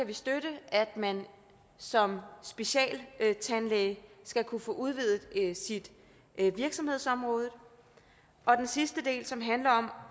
vi støtte at man som specialtandlæge skal kunne få udvidet sit virksomhedsområde og den sidste del som handler om